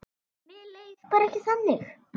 Mér leið bara ekki þannig.